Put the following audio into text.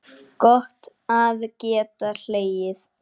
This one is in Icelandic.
Gott að geta hlegið.